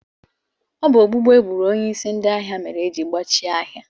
Ọ bụ gbugbu egburu onyeisi ndị ahịa mere ejiri gbachie ahịa.